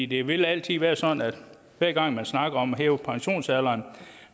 det vil altid være sådan at hver gang man snakker om at hæve pensionsalderen